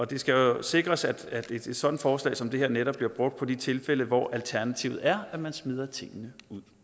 det skal jo sikres at at et et sådant forslag som det her netop bliver brugt på de tilfælde hvor alternativet er at man smider tingene